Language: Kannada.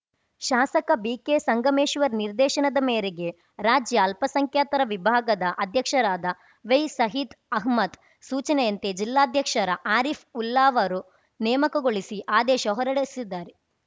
ಶಾಸಕ ಬಿಕೆ ಸಂಗಮೇಶ್ವರ್‌ ನಿರ್ದೇಶನದ ಮೇರೆಗೆ ರಾಜ್ಯ ಅಲ್ಪಸಂಖ್ಯಾತರ ವಿಭಾಗದ ಅಧ್ಯಕ್ಷರಾದ ವೈ ಸಹಿದ್‌ ಅಹಮದ್‌ ಸೂಚನೆಯಂತೆ ಜಿಲ್ಲಾಧ್ಯಕ್ಷರ ಆರಿಫ್‌ ಉಲ್ಲಾ ವರು ನೇಮಕಗೊಳಿಸಿ ಆದೇಶ ಹೊರಡಿಸಿದ್ದಾರು